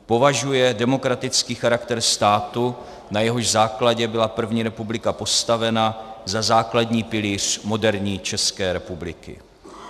Považuje demokratický charakter státu, na jehož základě byla první republika postavena, za základní pilíř moderní České republiky.